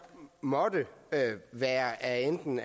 måtte være af enten